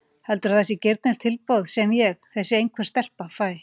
Heldurðu að það sé girnilegt tilboð sem ég, þessi einhver stelpa, fæ?